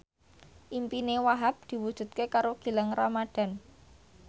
impine Wahhab diwujudke karo Gilang Ramadan